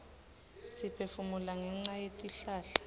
siphefumula ngenca yetihlahla